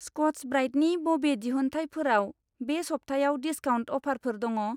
Scotch ब्राइटनि बबे दिहुनथाइफोराव बे सबथायाव डिसकाउन्ट अफारफोर दङ?